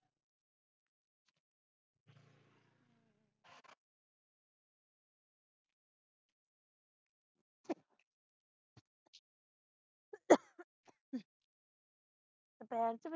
ਪੈਰ ਤੇ ਵਜੀ